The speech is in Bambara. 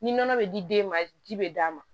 Ni nɔnɔ bɛ di den ma ji bɛ d'a ma